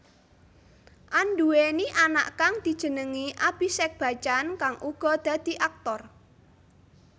Anduwèni anak kang dijenengi Abhishek Bachchan kang uga dadi aktor